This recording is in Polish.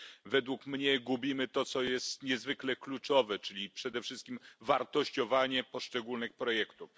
Według mnie gubimy to, co jest niezwykle kluczowe, czyli przede wszystkim wartościowanie poszczególnych projektów.